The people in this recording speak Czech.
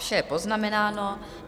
Vše je poznamenáno.